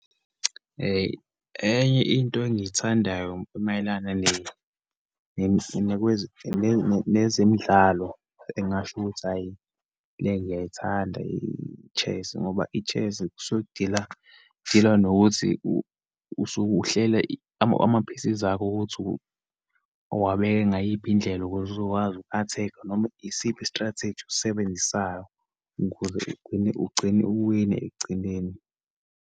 Enye into engiyithandayo mayelana nezemidlalo, engingasho ukuthi hhayi, le ngiyayithanda, i-chess, ngoba i-chess kusuke kudila, kudilwa nokuthi usuke uhlela ama-pieces akho ukuthi uwabeka ngayiphi indlela ukuze uzokwazi uku-attack-a, noma isiphi i-strategy osisebenzisayo ukuze ugcine uwine ekugcineni.